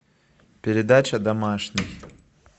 передача домашний